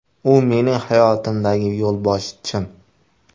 U – mening hayotimdagi yo‘lboshchim.